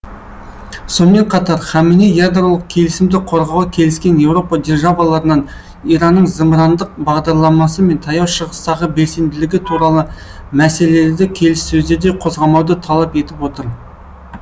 сонымен қатар хаменеи ядролық келісімді қорғауға келіскен еуропа державаларынан иранның зымырандық бағдарламасы мен таяу шығыстағы белсенділігі туралы мәселелерді келіссөздерде қозғамауды талап етіп отыр